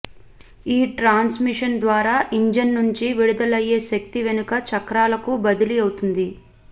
ఈ ట్రాన్సిమిషన్ ద్వారా ఇంజన్ నుంచి విడుదలయ్యే శక్తి వెనుక చక్రాలకు బదిలీ అవుతుంది